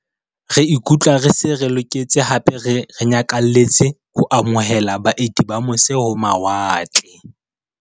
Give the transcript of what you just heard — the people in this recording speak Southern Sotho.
Re ikutlwa re se re loketse hape re nyakalletse ho amo hela baeti ba mose-ho-mawa tle.